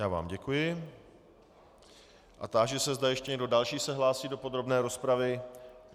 Já vám děkuji a táži se, zda ještě někdo další se hlásí do podrobné rozpravy.